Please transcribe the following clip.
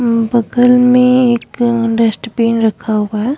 बगल में एक डस्ट बिन रखा हुआ है।